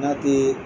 N'a te